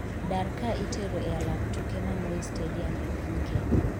dar ka itero e alap tuke ma moi stadium e piny Kenya